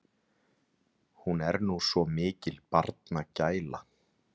Hún er nú svo mikil barnagæla.